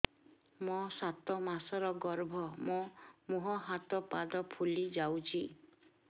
ମୋ ସାତ ମାସର ଗର୍ଭ ମୋ ମୁହଁ ହାତ ପାଦ ଫୁଲି ଯାଉଛି